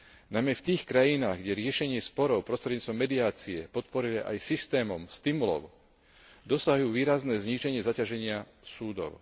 Najmä v tých krajinách, kde sa riešenie sporov prostredníctvom mediácie podporuje aj systémom stimulov, dosahujú výrazné zníženie zaťaženia súdov.